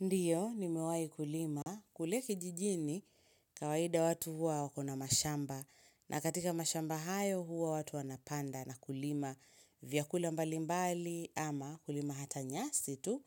Ndiyo, nimewahi kulima. Kule kijijini, kawaida watu huwa wakona mashamba. Na katika mashamba hayo huwa watu wanapanda na kulima vyakula mbali mbali ama kulima hata nyasi tu.